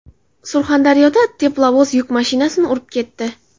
Surxondaryoda teplovoz yuk mashinasini urib ketdi.